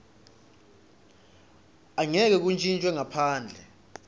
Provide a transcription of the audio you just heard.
angeke kuntjintjwe ngaphandle